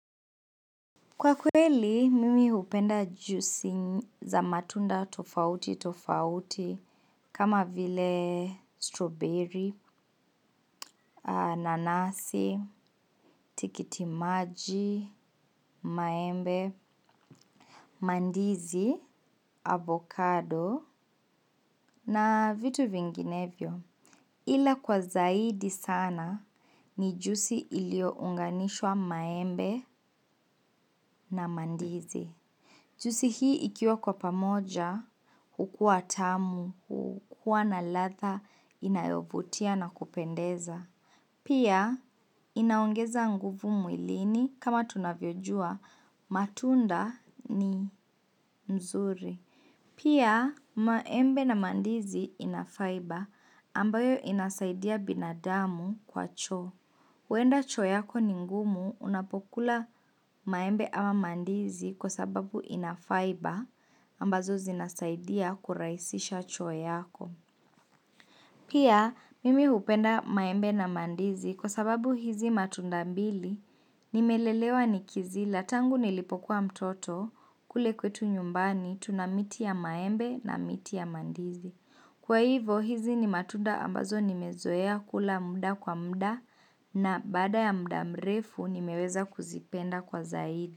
Kwa kweli, mimi hupenda juisi za matunda tofauti tofauti kama vile strawberry, nanasi, tikiti maji, maembe, mandizi, avocado na vitu vinginevyo. Ila kwa zaidi sana ni juisi ilio unganishwa maembe na mandizi. Juisi hii ikiwa kwa pamoja, hukuwa tamu, hukuwa na ladha, inayovutia na kupendeza. Pia, inaongeza nguvu mwilini kama tunavyojua, matunda ni mzuri. Pia maembe na mandizi inafaiba ambayo inasaidia binadamu kwa choo. Huenda choo yako ni ngumu unapokula maembe ama mandizi kwa sababu inafaiba ambazo zinasaidia kurahisisha choo yako. Pia mimi hupenda maembe na mandizi kwa sababu hizi matunda mbili nimelelewa nikizila tangu nilipokuwa mtoto kule kwetu nyumbani tunamiti ya maembe na miti ya mandizi. Kwa hivo hizi ni matunda ambazo nimezoea kula muda kwa muda na baada ya muda mrefu nimeweza kuzipenda kwa zaidi.